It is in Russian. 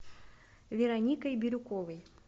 вероникой бирюковой